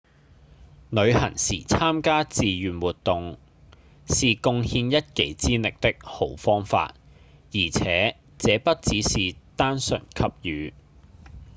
旅行時參加志願活動是貢獻一己之力的好方法而且這不只是單純給予